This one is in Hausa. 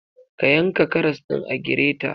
Ka yanka karas ɗin a greter.